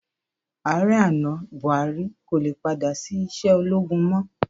Ààrẹ àná, Bùhárí kò le padà sí iṣẹ́ ológun mọ́.